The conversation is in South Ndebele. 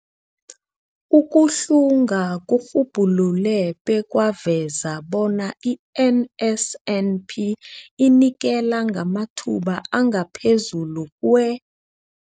Ukuhlunga kurhubhulule bekwaveza bona i-NSNP inikela ngamathuba angaphezulu kwe-